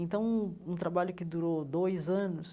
Então, um um trabalho que durou dois anos,